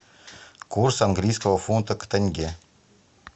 курс английского фунта к тенге